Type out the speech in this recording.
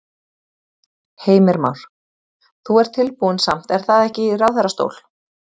Heimir Már: Þú ert tilbúinn samt er það ekki í ráðherrastól?